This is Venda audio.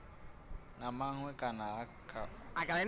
na maṅwe kana kha u